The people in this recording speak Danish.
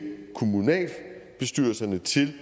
kommunalbestyrelserne til